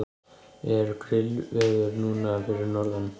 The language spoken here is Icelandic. er grillveður núna fyrir norðan